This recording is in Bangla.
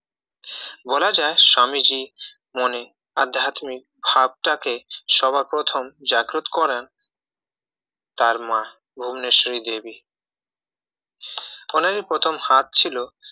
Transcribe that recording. বলা যায় স্বামীজীর মনে আধ্যাত্মিক ভাবটাকে সবার প্রথম জাগ্রত করান তার মা ভুবনেশ্বরী দেবী উনারই প্রথম হাত ছিল